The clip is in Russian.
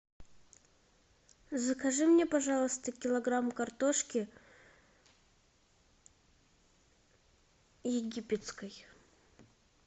закажи мне пожалуйста килограмм картошки египетской